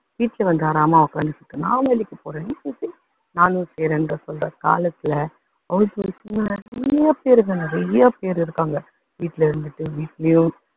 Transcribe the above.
வீட்ல வந்து தாராளமா உக்காந்துட்டு நான் வேலைக்கு போறேன். நீ வேலை செய் நானும் செய்றேன்னு சொல்ற காலத்துல நிறைய பேரு இருக்காங்க, வீட்ல இருந்துட்டு வீட்டிலேயும்